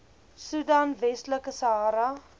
soedan westelike sahara